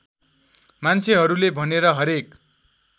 मान्छेहरूले भनेर हरेक